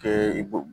Kɛ i b'o